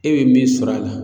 E be min sɔrɔ a la